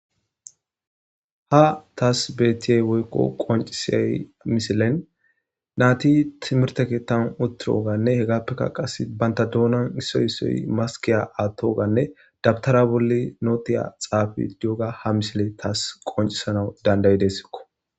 Ha taas bettiyey woykko qoncisey misilen naati timirteketan utiroganne hegappekka qas banta doonan issoy issoy maskiya attoganne dabtara bolli nootiya xaafi yooga ha misile taas qoncisanau dandayi deessikko.